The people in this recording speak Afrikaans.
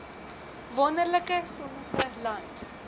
wonderlike sonnige land